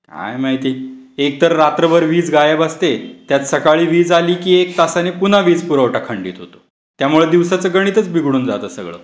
काय माहिती. एक तर रात्रभर वीज गायब असते, त्यात सकाळ झाली की एक तासाने पुन्हा भेट पुरवठा खंडित होतो त्यामुळे दिवसाचं गणितच बिघडून जातं सगळं.